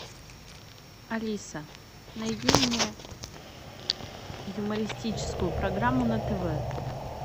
алиса найди мне юмористическую программу на тв